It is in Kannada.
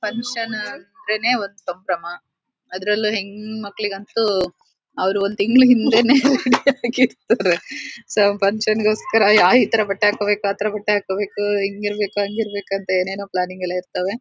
ಫಂಕ್ಷನ್ ಅಂದ್ರೇನೆ ಒಂದ್ ಸಂಭ್ರಮ ಅದ್ರಲ್ಲೂ ಹೆಣ್ಮಕ್ಳು ಅಂತೂ ಅವರು ಒಂದು ತಿಂಗಳು ಹಿಂದೇನೆ ರೆಡಿ ಆಗಿ ಇರ್ತರೆ ಸೊ ಫಂಕ್ಷನ್ ಗೋಸ್ಕರ ಇತರೆ ಬಟ್ಟೆ ಹಾಕ್ಬೇಕು ಅತರ ಬಟ್ಟೆ ಹಾಕೋಬೇಕು ಹಿಂಗ್ ಇರಬೇಕು ಹ್ಯಾಂಗ್ ಇರಬೇಕು ಅಂತ ಏನೇನೋ ಪ್ಲಾನಿಂಗ್ ಎಲ್ಲ ಇರ್ತವೆ.